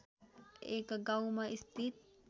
एक गाउँमा स्थित